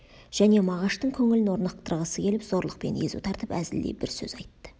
және мағаштың көңілін орнықтырғысы келіп зорлықпен езу тартып әзілдей бір сөз айтты